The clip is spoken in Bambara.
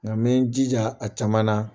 Nka n bɛ n jija a caman na